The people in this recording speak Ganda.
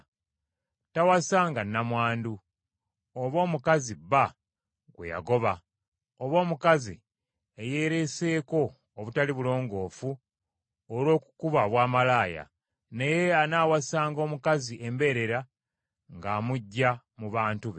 Tawasanga nnamwandu, oba omukazi bba gwe yagoba, oba omukazi eyeereeseeko obutali bulongoofu olw’okukuba obwamalaaya; naye anaawasanga omukazi embeerera ng’amuggya mu bantu be;